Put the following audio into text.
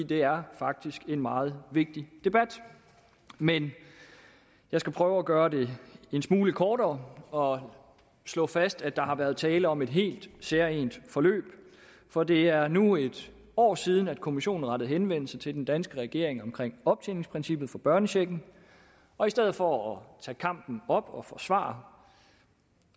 det er faktisk en meget vigtig debat men jeg skal prøve at gøre det en smule kortere og slå fast at der har været tale om et helt særegent forløb for det er nu en år siden at kommissionen rettede henvendelse til den danske regering omkring optjeningsprincippet for børnechecken og i stedet for at tage kampen op og forsvare